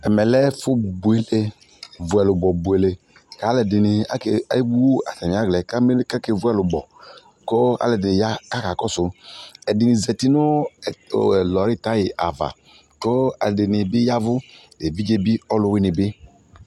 Ɛmɛ lɛ ɛfo bule vu ɛlubɔ buele ka alɛde ne ake, awu atane alɛ ka menu kake vu ɛlubɔ ko alɛde ne ya kaka kɔso Ɛde ne zati no o ɛlɔi tayi ava ko ɛde ne be yavu, evidze be ɔluwene be